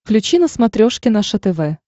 включи на смотрешке наше тв